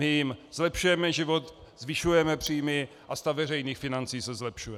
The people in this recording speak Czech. My jim zlepšujeme život, zvyšujeme příjmy a stav veřejných financí se zlepšuje.